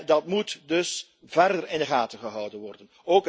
Dat moet dus verder in de gaten gehouden worden.